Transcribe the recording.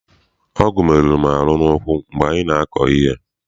Ọgụ meruru m ahụ n'ụkwụ mgbe m na-akọ ihe.